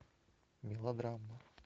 мелодрама